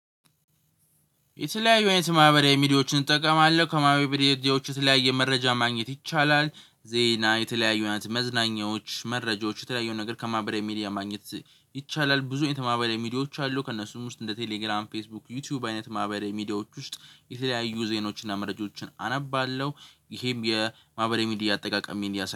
የተለያዩ አይነት ማህበራዊ ሚዲያዎችን እጠቀማለሁ ከማህበራዊ ሚዲያዎች የተለያየ መረጃ ማግኘት ይቻላል። ዜና የተለያዩ መዝናኛዎች መረጃዎች የተለያዩ ነገር ከማህበራዊ ሚዲያ ማግኘት ይቻላል። ብዙ አይነት ማህበራዊ ሚዲያዎች አሉ። ከእነሱም ውስጥ እንደ ቴሌግራም ፌስቡክ ዩቲዩብ አይነት ማብራሪያ ሚዲያዎች ውስጥ የተለያዩ ዜኖችን እና መረጃዎች አነባለሁ። ይሄም የማህበረ ሚዲያ አጠቃቀሜን